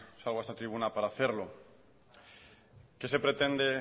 salgo a esta tribuna para hacerlo qué se pretende